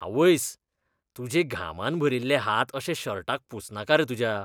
आवयस. तुजें घामान भरिल्ले हात अशे शर्टाक पुसनाका रे तुज्या.